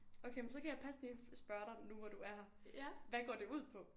Okay men så kan jeg passende spørge dig nu hvor du er her hvad går det ud på?